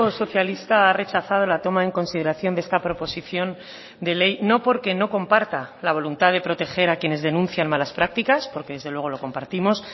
socialista ha rechazado la toma en consideración de esta proposición de ley no porque no comparta la voluntad de proteger a quienes denuncian malas prácticas porque desde luego lo compartimos